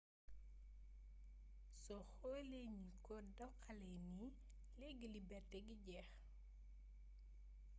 soo xoolee ni ñu ko doxalee nii leegi leberti gi jeex